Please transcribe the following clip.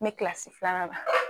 Me kilasi filanan la.